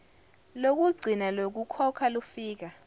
lokugcina lokukhokha lufika